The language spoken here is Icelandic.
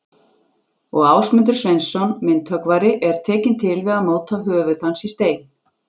Og Ásmundur Sveinsson, myndhöggvari, er tekinn til við að móta höfuð hans í stein.